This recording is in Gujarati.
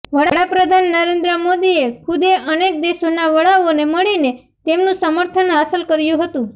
વડા પ્રધાન નરેન્દ્ર મોદીએ ખુદે અનેક દેશોના વડાઓને મળીને તેમનું સમર્થન હાંસલ કર્યું હતું